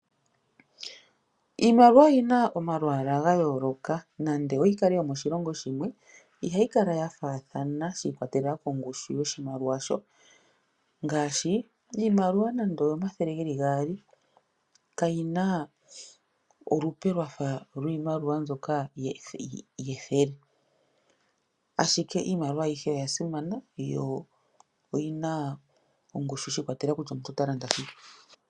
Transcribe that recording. Iimaliwa oyi na omalwaala ga yooloka. Nande oyi kale yomoshilongo shimwe, ohayi kala ya faathana shi iikwatela kongushu yomoshilongo shasho. Ngaashi iimaliwa nande oyomathele geli gaali kayi na olupe lwafa lwiimaliwa mbyoka yethele. Ashike iimaliwa ayihe oya simana shi ikwatelela kutya omuntu ota landa shike.